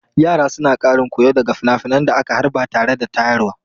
Yara suna ƙarin koyo daga finafinan da aka harba tare da rayarwa.